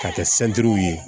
K'a kɛ ye